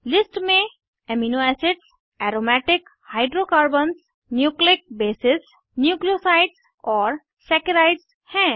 list में amino acids aromatic hydrocarbons nucleic bases nucleosides और saccharides हैं